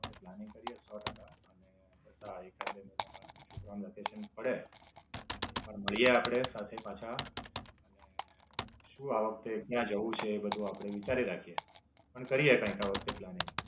Planning કરીયે સો ટકા, અને બધા એકાદ બે મહિના માં છોકરાનું વેકેશન પડે એટલે માળીયે આપડે સાથે પાછા. અને શું આ વખતે ક્યાં જવું છે એ બધું આપડે વિચારી રાખીયે. પણ કરીયે કંઈક આ વખતે planning.